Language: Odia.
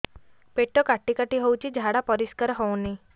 ପେଟ କାଟି କାଟି ହଉଚି ଝାଡା ପରିସ୍କାର ହଉନି